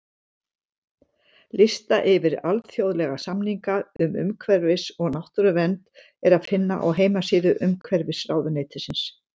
Lista yfir alþjóðlega samninga um umhverfis- og náttúruvernd er að finna á heimasíðu Umhverfisráðuneytisins.